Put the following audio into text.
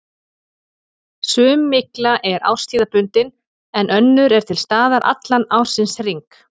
Sum mygla er árstíðabundin en önnur er til staðar allan ársins hring.